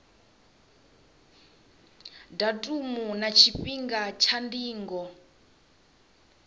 datumu na tshifhinga tsha ndingo